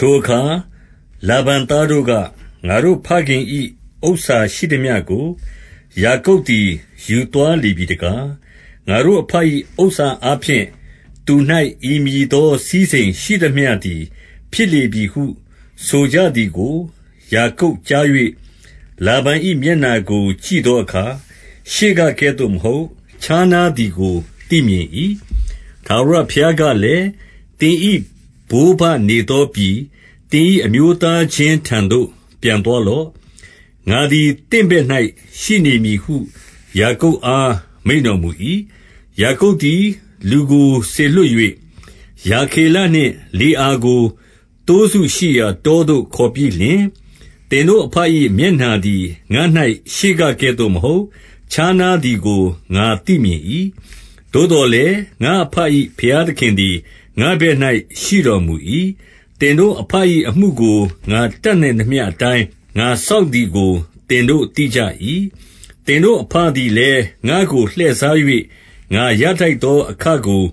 ထိုအခါ လာဗန်သားတို့က၊ ငါတို့သခင်၏ဥစ္စာရှိ သမျှကို ယာကုပ်သည် ယူသွားလေပြီတကား၊ ငါတို့အဘ ၏ဥစ္စာအားဖြင့်၊ သူ၌ဤမည်သော စည်းစိမ်ရှိသမျှသည် ဖြစ်လေပြီဟု၊ ဆိုကြသည်ကို ယာကုပ်ကြား၍၊ 2 လာဗန်၏ မျက်နှာကို ကြည့်သောအခါ၊ ရှေ့က ကဲ့သို့ မဟုတ်၊ ခြားနားသည်ကို သိမြင်၏။ 3 ထာဝရဘုရားကလည်း၊ သင်၏ဘိုးဘနေသော ပြည်၊ သင်၏အမျိုးသားချင်းထံသို့ ပြန်သွားလော့။ ငါ သည် သင့်ဘက်၌ရှိနေမည်ဟု ယာကုပ်အား မိန့်တော် မူ၏။ 4 ယာကုပ်သည် လူကိုစေလွှတ်၍၊ ရာခေလနှင့် လေအာကို၊ သိုးစုရှိရာတောသို့ ခေါ်ပြီးလျှင်၊ 5 သင်တို့အဘ၏ မျက်နှာသည် ငါ၌ရှေ့ကကဲ့သို့ မဟုတ်၊ ခြားနားသည်ကို ငါသိမြင်၏။ သို့သော်လည်း၊ ငါ့အဘ၏ဘုရားသခင်သည်၊ ငါ့ဘက်၌ ရှိတော်မူ၏။ 6 သင်တို့ အဘ၏အမှုကို၊ ငါတတ်နိုင်သမျှ အတိုင်း၊ ငါစောင့်သည်ကို သင်တို့သိကြ၏။ 7 သင်တို့အဘသည်လည်း ငါ့ကိုလှည့်စား၍၊ ငါရထိုက်သော အခကို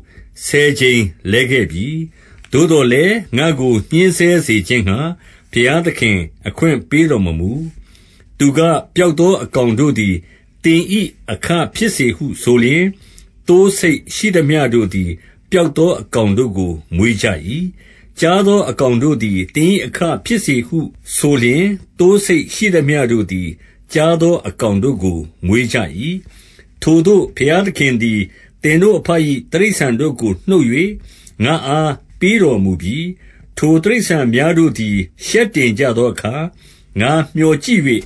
ဆယ်ကြိမ်လဲခဲ့ပြီ။ သို့သော်လည်း၊ ငါ့ကိုညှဉ်းဆဲစေခြင်းငှါ၊ ဘုရားသခင်အခွင့်ပေးတော်မမူ။ 8 သူက၊ ပြောက်သောအကောင်တို့သည်၊ သင်၏ အခဖြစ်စေဟုဆိုလျှင်၊ သိုး၊ ဆိတ်ရှိသမျှတို့သည် ပြောက် သောအကောင်တို့ကို မွေးကြ၏။ ကျားသော အကောင်တို့ သည်၊ သင်၏အခဖြစ်စေဟုဆိုလျှင်၊ သိုး၊ ဆိတ် ရှိသမျှ တို့သည် ကျားသောအကောင်တို့ကို မွေးကြ၏။ 9 ထိုသို့ ဘုရားသခင်သည်၊ သင်တို့အဘ၏ တိရစ္ဆာန်တို့ကို နှုတ်၍ ငါ့အားပေးတော်မူပြီ။ 10 ထိုတိရစ္ဆာန်များတို့သည်၊ ရှက်တင်ကြသော အခါ၊ ငါမြော်ကြည့်၍၊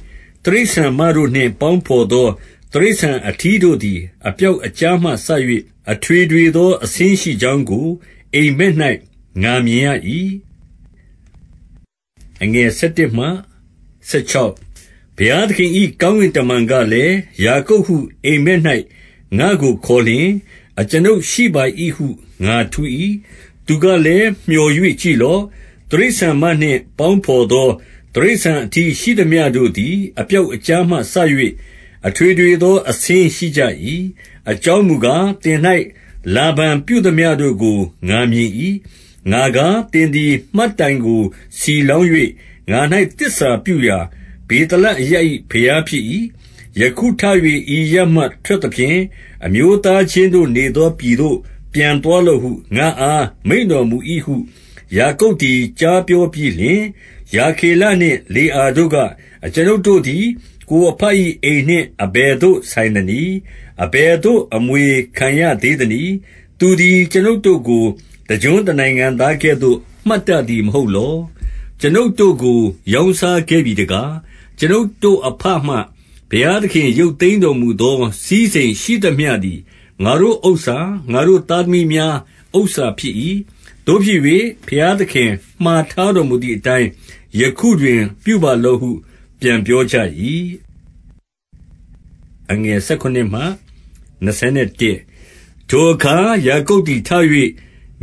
တိရစ္ဆာန်မတို့နှင့်ပေါင်းဘော်သော တိရစ္ဆာန်အထီးရှိသမျှတို့သည်၊ အပြောက်အကျားမှစ၍၊ အထွေထွေသော အဆင်းရှိကြောင်းကို အိပ်မက်၌ ငါမြင် ရ၏။ 11 ဘုရားသခင်၏ကောင်းကင်တမန်ကလည်း၊ ယာကုပ်ဟု အိပ်မက်၌ ငါ့ကိုခေါ်လျှင်၊ ကျွန်ုပ်ရှိပါ၏ဟု ငါထူး၏။ 12 သူကလည်း မြော်၍ကြည့်လော့။ တိရစ္ဆာန်မနှင့် ပေါင်းဘော်သော တိရစ္ဆာန်အထီး ရှိသမျှတို့သည်၊ အပြောက်အကျားမှစ၍၊ အထွေထွေသော အဆင်းရှိကြ ၏။ အကြောင်းမူကား၊ သင်၌လာဗန်ပြုသမျှတို့ကို ငါမြင် ၏။ 13 ငါကား၊ သင်သည် မှတ်တိုင်ကိုဆီလောင်း၍၊ ငါ၌ သစ္စာပြုရာ ဗေသလအရပ်၏ဘုရားဖြစ်၏။ ယခု ထ၍ ဤအရပ်မှ ထွက်သဖြင့်၊ အမျိုး သားချင်းတို့နေသော ပြည်သို့ ပြန်သွားလော့ဟု ငါ့အားမိန့်တော်မူ၏ဟု ယာကုပ်သည် ကြားပြောပြီးလျှင်၊ 14 ရာခေလနှင့် လေအာတို့က၊ အကျွန်ုပ်တို့သည် ကိုယ်အဘ၏အိမ်နှင့် အဘယ်သို့ ဆိုင်သနည်း။ အဘယ် သို့ အမွေခံရသေးသနည်း။ 15 သူသည် ကျွန်ုပ်တို့ကို တကျွန်းတနိုင်ငံသားကဲ့သို့ မှတ်တတ်သည့်မဟုတ်လော။ ကျွန်ုပ်တို့ကို ရောင်းစားခဲ့ပြီ တကား။ 16 ကျွန်ုပ်တို့အဘမှ ဘုရားသခင်ရုပ်သိမ်းတော်မူ သော စည်းစိမ်ရှိသမျှသည် ငါတို့ဥစ္စာ၊ ငါတို့ သားသမီး များ ဥစ္စာဖြစ်၏။ သို့ဖြစ်၍ ဘုရားသခင် မှာထားတော်မူ သည်အတိုင်း ယခုတွင် ပြုပါလော့ဟုပြန်ပြောကြ၏။ 17 ထိုအခါ ယာကုပ်သည်ထ၍၊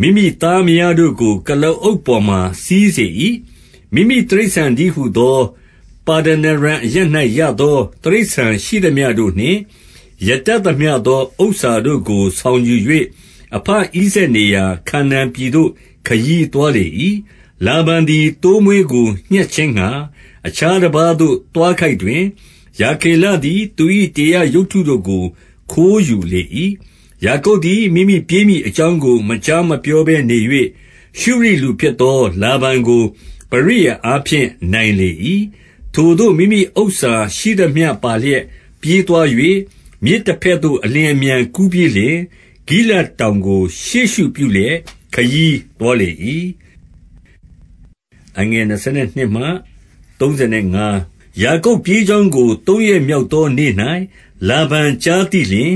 မိမိသားမယား တို့ကို ကုလားအုပ်ပေါ်မှာ စီးစေ၏။ 18 မိမိတိရစ္ဆာန်တည်းဟူသော၊ ပါဒနာရံအရပ်၌ ရသောတိရစ္ဆာန်ရှိသမျှတို့နှင့်၊ ရတတ်သမျှသော ဥစ္စာ တို့ကို ဆောင်ယူ၍၊ အဘဣဇာက်နေရာ ခါနာန်ပြည်သို့ ခရီးသွားလေ၏။ 19 လာဗန်သည် သိုးမွေးကို ညှပ်ခြင်းငှါ၊ အခြား တပါးသို့ သွားခိုက်တွင်၊ ရာခေလသည်၊ သူ၏တေရပ် ရုပ်တုတို့ကို ခိုးယူလေ၏။ 20 ယာကုပ်သည် မိမိပြေးမည်အကြောင်းကို မကြားမပြောဘဲနေ၍၊ ရှုရိလူဖြစ်သော လာဗန်ကို ပရိယာယ်အားဖြင့် နိုင်လေ၏။ 21 ထိုသို့မိမိဥစ္စာရှိသမျှပါလျက် ပြေးသွား၍၊ မြစ် တဘက်သို့ အလျင်အမြန်ကူးပြီးလျှင်၊ ဂိလဒ်တောင်ကို ရှေ့ရှုပြုလျက် ခရီးသွားလေ၏။ 22 ယာကုပ်ပြေးကြောင်းကို၊ သုံးရက်မြောက်သော နေ့၌ လာဗန်ကြားသိလျှင်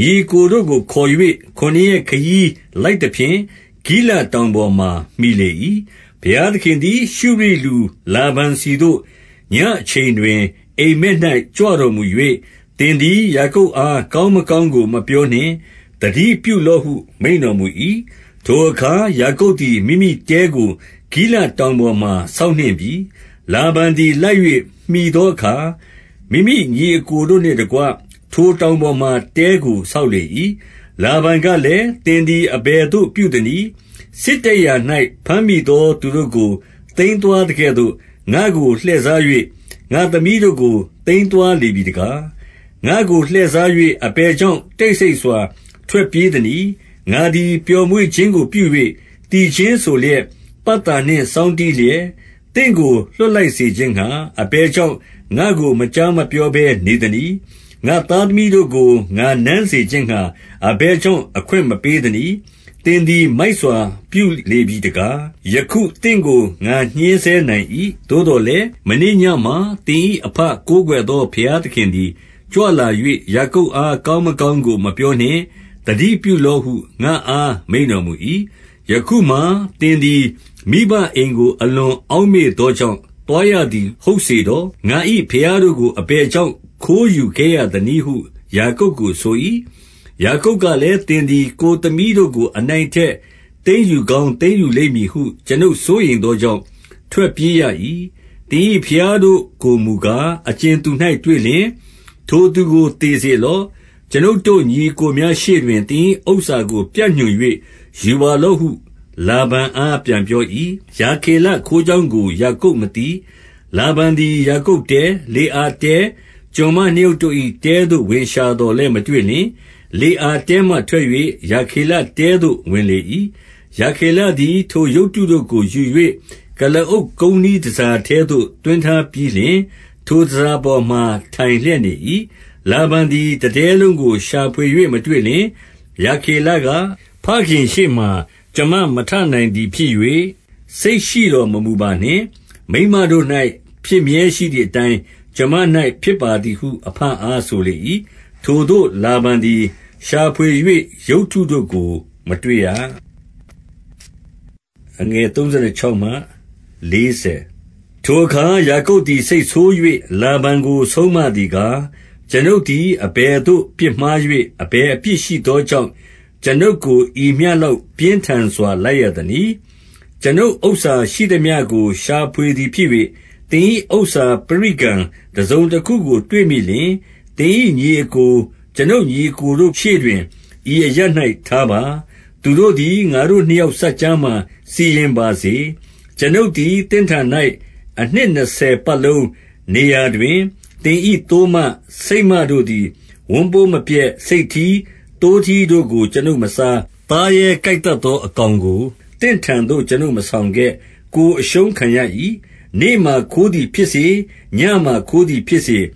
၊ 23 ညီအစ်ကိုတို့ကိုခေါ်၍၊ ခုနစ်ရက်ခရီး လိုက် သဖြင့်၊ ဂိလဒ်တောင်ပေါ်မှာ မှီလေ၏။ 24 ဘုရားသခင်သည် ရှုရိလူလာဗန်ဆီသို့ ညဉ့် အချိန်တွင် အိပ်မက်၌ကြွတော်မူ၍၊ သင်သည် ယာကုပ် အား ကောင်းမကောင်းကို မပြောနှင့်၊ သတိပြုလော့ဟု မိန့်တော်မူ၏။ 25 ထိုအခါ ယာကုပ်သည် မိမိတဲကို ဂိလဒ်တောင် ပေါ်မှာ ဆောက်နှင့်ပြီ။ လာဗန်သည် လိုက်၍မှီသော အခါ၊ မိမိညီအစ်ကိုတို့နှင့်တကွ၊ ထိုတောင်ပေါ်မှာတဲကို ဆောက်လေ၏။ 26 လာဗန်ကလည်း၊ သင်သည် အဘယ်သို့ ပြုသ နည်း။ စစ်တိုက်ရာ၌ ဘမ်းမိသောသူတို့ကို သိမ်းသွား သကဲ့သို့၊ ငါ့ကိုလှည့်စား၍၊ ငါ့သမီးတို့ကို သိမ်းသွား လေပြီတကား။ 27 ငါ့ကို လှည့်စား၍၊ အဘယ်ကြောင့် တိတ်ဆိတ် စွာ ထွက်ပြေးသနည်း။ ငါသည် ပျော်မွေ့ခြင်းကိုပြု၍ သီခြင်းဆိုလျက်၊ ပတ်သာနှင့် စောင်းတီးလျက်၊ သင့်ကို လွှတ်လိုက်စေခြင်းငှါ၊ အဘယ်ကြောင့် ငါ့ကိုမကြား မပြောဘဲ နေသနည်း။ 28 ငါ့သားသမီးတို့ကို ငါနမ်းစေခြင်းငှါ၊ အဘယ် ကြောင့် အခွင့်မပေးသနည်း။ သင်သည် မိုက်စွာ ပြုလေ ပြီတကား။ 29 ယခုသင့်ကို ငါညှဉ်းဆဲနိုင်၏။ သို့သော်လည်း၊ မနေ့ညမှာ သင်၏အဘကိုးကွယ်သော ဘုရားသခင်သည် ကြွလာ၍၊ ယာကုပ်အား ကောင်းမကောင်းကို မပြောနှင့်။ သတိပြုလော့ဟု ငါ့အား မိန့်တော်မူ၏။ 30 ယခုမှာ၊ သင်သည် မိဘအိမ်ကို အလွန် အောက် မေ့သောကြောင့်၊ သွားရသည် ဟုတ်စေတော့။ ငါ၏ ဘုရားတို့ကို အဘယ်ကြောင့် ခိုးယူခဲ့ရသနည်းဟု ယာကုပ် ကို ဆို၏။ 31 ယာကုပ်ကလည်း၊ သင်သည်ကိုယ်သမီးတို့ကို အနိုင်သိမ်းယူကောင်းသိမ်းယူလိမ့်မည်ဟု ကျွန်ုပ်စိုးရိမ် သောကြောင့် ထွက်ပြေးရ၏။ 32 သင်၏ဘုရားတို့ကိုမူကား၊ အကြင်သူ၌ တွေ့ လျှင်၊ ထိုသူကို သေစေလော့။ ကျွန်ုပ်တို့ ညီအစ်ကိုများ ရှေ့တွင်၊ သင်၏ဥစ္စာကိုပြညွှန်၍ ယူပါလော့ဟု၊ လာဗန် အား ပြန်ပြော၏။ ရာခေလခိုးကြောင်းကို ယာကုပ်မသိ။ 33 လာဗန်သည် ယာကုပ်တဲ၊ လေအာတဲ၊ ကျွန်မ နှစ်ယောက်တို့၏ တဲသို့ဝင်၍ ရှာသော်လည်း မတွေ့လျှင်၊ လေအာတဲထဲမှ ထွက်၍၊ ရာခေလတဲသို့ ဝင်လေ၏။ 34 ရာခေလသည်၊ ထိုရုပ်တုတို့ကိုယူ၍ ကုလားအုပ် ကုန်းနှီးတန်ဆာထဲသို့ သွင်းထားပြီးလျှင်၊ ထိုတန်ဆာပေါ် မှာ ထိုင်လျက်နေ၏။ လာဗန်သည် တတဲလုံးကို ရှာဖွေ၍ မတွေ့လျှင်၊ 35 ရာခေလက၊ သခင်ရှေ့မှာ ကျွန်မမထနိုင်သည် ဖြစ်၍၊ စိတ်ရှိတော်မမူပါနှင့်။ မိန်းမတို့၌ ဖြစ်မြဲရှိသည် အတိုင်း၊ ကျွန်မ၌ဖြစ်ပါသည်ဟု အဘအား ဆိုလေ၏။ ထိုသို့လာဗန်သည် ရှာဖွေ၍ ရုပ်တုတို့ကိုမတွေ့ရ။ 36 ထိုအခါ ယာကုပ်သည် စိတ်ဆိုး၍ လာဗန်ကို ဆုံးမသည်ကား၊ ကျွန်ုပ်သည် အဘယ်သို့ပြစ်မှား၍၊ အဘယ်အပြစ်ရှိသောကြောင့်၊ ကျွန်ုပ်ကို ဤမျှလောက် ပြင်းထန်စွာ လိုက်ရသနည်း။ 37 ကျွန်ုပ်ဥစ္စာရှိသမျှကို ရှာဖွေသည်ဖြစ်၍၊ သင်၏ ဥစ္စာပရိကံ တစုံတခုကို တွေ့မိလျှင်၊ သင်၏ညီအစ်ကို၊ ကျွန်ုပ်ညီအစ်ကိုတို့ ရှေ့တွင်၊ ဤအရပ်၌ထားပါ။ သူတို့ သည်၊ ငါတို့နှစ်ယောက်စပ်ကြားမှာ စီရင်ပါစေ။ 38 ကျွန်ုပ်သည် သင့်ထံ၌ အနှစ်နှစ်ဆယ်ပတ်လုံး နေရာတွင်၊ သင်၏သိုးမ၊ ဆိတ်မတို့သည် ဝမ်းပိုးမပျက်။ ဆိတ်ထီး၊ သိုးထီးတို့ကို ကျွန်ုပ်မစား။ 39 သားရဲ ကိုက်သတ်သော အကောင်ကိုသင့်ထံသို့ ကျွန်ုပ်မဆောင်ခဲ့၊ ကိုယ်အရှုံးခံရ၏။ နေ့မှာ ခိုးသည် ဖြစ်စေ၊ ညမှာခိုးသည်ဖြစ်စေ၊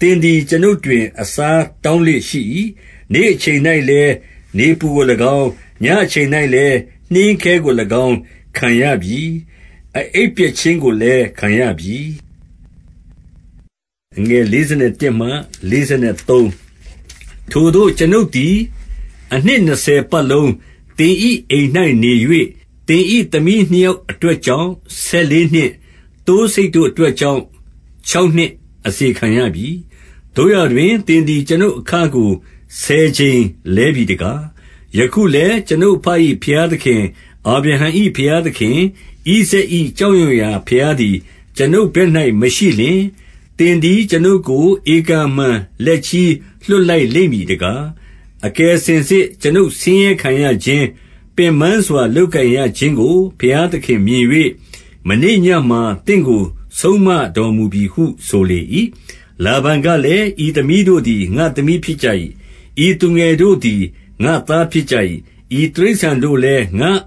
သင်သည် ကျွန်ုပ်တွင် အစားတောင်းလေ့ရှိ၏။ 40 နေ့အချိန်၌လည်း နေပူကို၎င်း၊ ညဉ့်အချိန်၌ လည်း နှင်းခဲကို၎င်း ခံရပြီ။ အအိပ်ပျက်ခြင်းကိုလည်း ခံရပြီ။ 41 ထိုသို့၊ ကျွန်ုပ်သည် အနှစ်နှစ်ဆယ်ပတ်လုံး သင်၏အိမ်၌ နေ၍၊ သင်၏သားသမီး နှစ်ယောက် အတွက်ကြောင့် ဆယ်လေးနှစ်၊ သိုးဆိတ်တို့အတွက် ကြောင့် ခြောက်နှစ်အစေခံရပြီ။ သို့ရာတွင်သင်သည်၊ ကျွန်ုပ်အခကို ဆယ်ကြိမ်လဲပြီတကား။ 42 ယခုလည်း ကျွန်ုပ်အဘ၏ ဘုရားသခင်၊ အာဗြဟံ၏ဘုရားသခင်၊ ဣဇာက်၏ကြောက်ရွံ့ရာ ဘုရား သည် ကျွန်ုပ်ဘက်၌မရှိလျှင်၊ သင်သည် ကျွန်ုပ်ကို ဧကန်အမှန်လက်ချည်း လွှတ်လိုက်လိမ့်မည်တကား။ အကယ်စင်စစ် ကျွန်ုပ်ဆင်းရဲခံရခြင်း၊ ပင်ပန်းစွာ လုပ် ကိုင်ရခြင်းကို ဘုရားသခင်မြင်၍၊ မနေ့ညမှာ သင့်ကို ဆုံးမတော်မူပြီဟု ဆိုလေ၏။ 43 လာဗန်ကလည်း၊ ဤသမီးတို့သည် ငါ့သမီး ဖြစ်ကြ၏။ ဤသူငယ်တို့သည်၊ ငါ့သားဖြစ်ကြ၏။ ဤတိရစ္ဆာန်တို့လည်း၊ ငါ့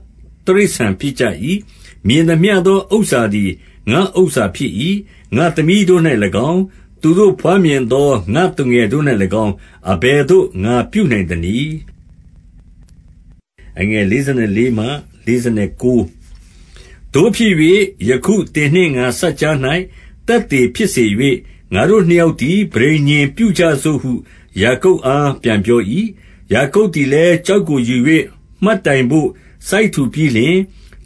တိရစ္ဆာန်ဖြစ်ကြ၏။ မြင်သမျှ သော ဥစ္စာသည် ငါ့ဥစ္စာဖြစ်၏။ ငါ့သမီးတို့၌၎င်း၊ သူတို့ ဘွားမြင်သော ငါ့သူငယ်တို့၌၎င်း၊ အဘယ်သို့ ငါပြုနိုင် သနည်း။ 44 သို့ဖြစ်၍၊ ယခုသင်နှင့် ငါစပ်ကြား၌ သက်သေ ဖြစ်စေ၍၊ ငါတို့နှစ်ယောက်သည် ပဋိညာဉ်ပြုကြစို့ဟု ယာကုပ်အား ပြန်ပြော၏။ 45 ယာကုပ်သည်လည်း ကျောက်ကိုယူ၍၊ မှတ်တိုင် ဘို့ စိုက်ထူပြီးလျှင်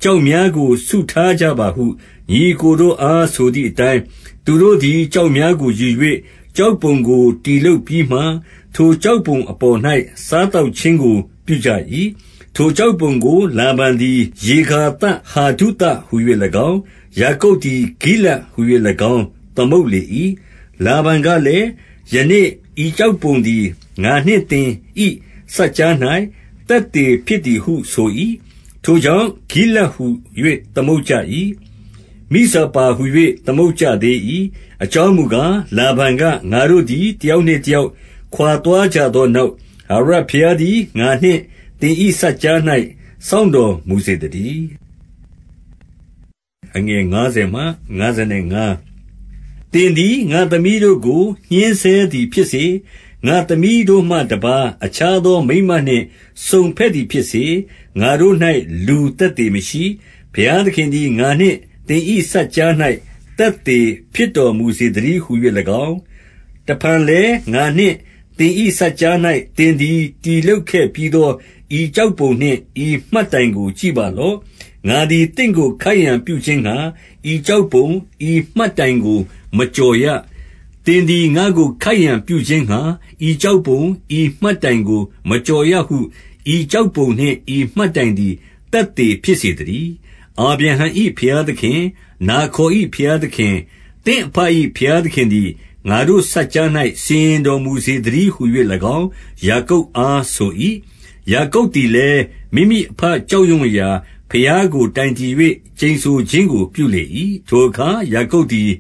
၊ 46 ကျောက်များကို စုထားကြပါဟု ညီအစ်ကိုတို့ အား ဆိုသည်အတိုင်း၊ သူတို့သည် ကျောက်များကိုယူ၍၊ ကျောက်ပုံကို တည်လုပ်ပြီးမှ၊ ထိုကျောက်ပုံအပေါ်၌ စားသောက်ခြင်းကို ပြုကြ၏။ 47 ထိုကျောက်ပုံကို လာဗန်သည် ယေဂါသ ဟာဒုသဟူ၍၎င်း၊ ယာကုပ်သည် ဂိလဒ်ဟူ၍၎င်း၊ သမုတ် လေ၏။ 48 လာဗန်ကလည်း၊ ယနေ့ဤကျောက်ပုံသည် ငါနှင့်သင်၏စပ်ကြား၌ သက်သေဖြစ်သည်ဟုဆို၏။ ထိုကြောင့် ဂိလဒ်ဟူ၍ သမုတ်ကြ၏။ 49 မိဇပါဟူ၍ သမုတ်ကြသေး၏။ အကြောင်းမူ ကား၊ လာဗန်က၊ ငါတို့သည် တယောက်နှင့်တယောက် ခွါသွားကြသောနောက်၊ ထာဝရဘုရားသည် ငါနှင့်သင်၏ စပ်ကြား၌စောင့်တော်မူစေသတည်း။ 50 သင်သည် ငါ့သမီးတို့ကို ညှဉ်းဆဲသည်ဖြစ်စေ၊ ငါ့သမီးတို့မှ တပါးအခြားသော မိန်းမနှင့် စုံဘက်သည် ဖြစ်စေ၊ ငါတို့၌ လူသက်သေမရှိ၊ ဘုရားသခင်သည် ငါနှင့်သင်၏ စပ်ကြား၌သက်သေမရှိ၊ ဘုရားသင်သည် ငါနှင့်သင်၏စပ်ကြား၌ သက်သေဖြစ်စေတော်မူသတည်း ဟူ၍၎င်း၊ 51 တဖန်လည်း၊ ငါနှင့်သင်၏စပ်ကြား၌ သင်သည် တည်လုပ်ခဲ့ပြီးသော ဤကျောက်ပုံနှင့် ဤမှတ်တိုင်ကို ကြည့်ပါလော့။ 52 ငါသည် သင့်ကိုခိုက်ရန်ပြုခြင်းငှါ၊ ဤကျောက်ပုံ၊ ဤမှတ်တိုင်ကို မကျော်ရ၊ သင်သည် ငါ့ကိုခိုက်ရန်ပြုခြင်း ငှါ၊ ဤကျောက်ပုံ၊ ဤမှတ်တိုင်ကို မကျော်ရဟု ဤကျောက်ပုံနှင့် ဤမှတ်တိုင်သည် သက်သေဖြစ်စေသ တည်း။ 53 အာဗြဟံ၏ ဘုရားသခင်၊ နာခေါ်၏ ဘုရား သခင်၊ သင့်အဘ၏ဘုရားသခင်သည် ငါတို့စပ်ကြား၌ စီရင်တော်မူစေသတည်းဟူ၍၎င်း၊ ယာကုပ်အားဆို၏။ ယာကုပ်သည်လည်း၊ မိမိအဘကြောက်ရွံ့ရာ ဘုရားကို တိုင်တည်၍ ကျိန်ဆိုခြင်းကို ပြုလေ၏။ 54 ထိုအခါယာကုပ်သည်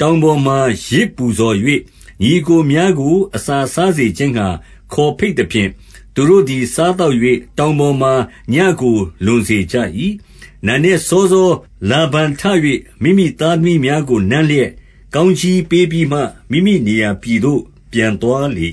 တောင်ပေါ်မှာ ယဇ် ပူဇော်၍၊ ညီအစ်ကိုများကို အစာစားစေခြင်းငှါ ခေါ်ဘိတ်သဖြင့်၊ သူတို့သည် စားသောက်၍၊ တောင်ပေါ် မှာ ညဉ့်ကို လွန်စေကြ၏။ 55 နံနက်စောစော လာဗန်ထ၍ မိမိသားသမီးများ ကို နမ်းလျက် ကောင်းကြီးပေးပြီးမှ၊ မိမိနေရာပြည်သို့ ပြန်သွားလေ